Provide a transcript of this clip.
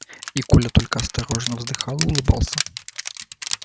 и коля только осторожно вздыхал и улыбался